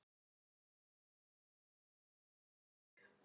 Ástrós